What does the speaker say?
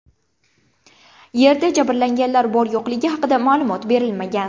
Yerda jabrlanganlar bor-yo‘qligi haqida ma’lumot berilmagan.